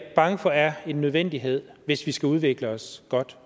bange for er en nødvendighed hvis vi skal udvikle os godt